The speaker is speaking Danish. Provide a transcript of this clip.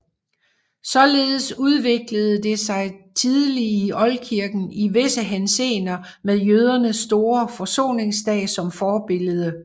Således udviklede det sig tidlig i oldkirken i visse henseender med jødernes store forsoningsdag som forbillede